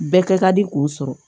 Bɛɛ kɛ ka di k'o sɔrɔ